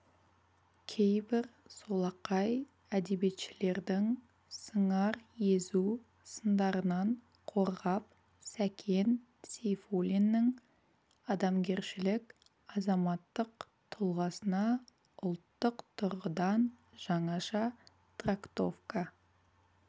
кейбір солақай әдебиетшілердің сыңар езу сындарынан қорғап сәкен сейфуллиннің адамгершілік азаматтық тұлғасына ұлттық тұрғыдан жаңаша трактовка